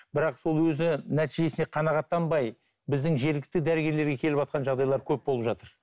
бірақ сол өзі нәтижесіне қанағаттанбай біздің жергілікті дәрігерлерге келіватқан жағдайлар көп болып жатыр